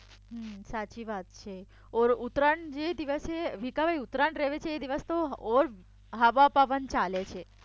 સાચી વાત છે ઓર ઉતરાયણ જે દિવસે ઉતરાયણ રહે છે એ દિવસ તો ઓર હવા પવન ચાલે છે